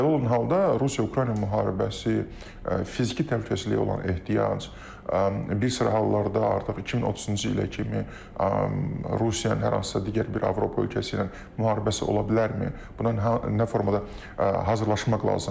Belə olan halda Rusiya-Ukrayna müharibəsi, fiziki təhlükəsizliyə olan ehtiyac, bir sıra hallarda artıq 2030-cu ilə kimi Rusiyanın hər hansısa digər bir Avropa ölkəsi ilə müharibəsi ola bilərmi, buna nə formada hazırlaşmaq lazımdır?